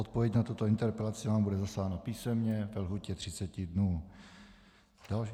Odpověď na tuto interpelaci vám bude zaslána písemně ve lhůtě 30 dnů.